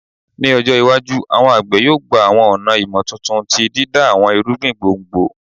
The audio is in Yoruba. Ni ọjọ iwaju, awọn agbe yoo gba awọn ọna imotuntun ti dida awọn irugbin gbongbo